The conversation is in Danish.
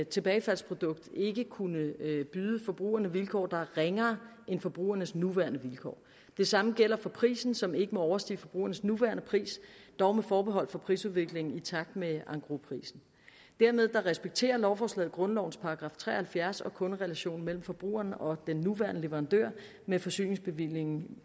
tilbagefaldsprodukt ikke kunne byde forbrugerne vilkår der er ringere end forbrugernes nuværende vilkår det samme gælder prisen som ikke må overstige forbrugernes nuværende pris dog med forbehold for prisudviklingen i takt med engrosprisen dermed respekterer lovforslaget grundlovens § tre og halvfjerds og kunderelationen mellem forbrugeren og den nuværende leverandør med forsyningsbevillingen